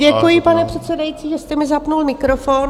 Děkuji, pane předsedající, že jste mi zapnul mikrofon.